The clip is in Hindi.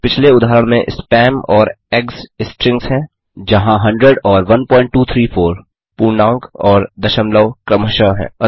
पिछले उदाहरण में स्पैम और ईजीजीज स्ट्रिंग्स हैं जहाँ 100 और 1234 पूर्णांक और दशमलव क्रमशः हैं